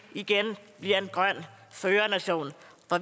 igen bliver en grøn førernation